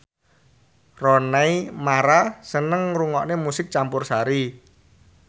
Rooney Mara seneng ngrungokne musik campursari